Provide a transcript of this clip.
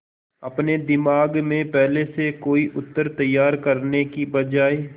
अपने दिमाग में पहले से कोई उत्तर तैयार करने की बजाय